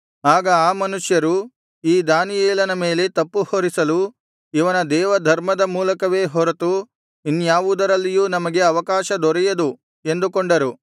ಆಗ ಆ ಮನುಷ್ಯರು ಈ ದಾನಿಯೇಲನ ಮೇಲೆ ತಪ್ಪುಹೊರಿಸಲು ಇವನ ದೇವಧರ್ಮದ ಮೂಲಕವೇ ಹೊರತು ಇನ್ಯಾವುದರಲ್ಲಿಯೂ ನಮಗೆ ಅವಕಾಶ ದೊರೆಯದು ಎಂದುಕೊಂಡರು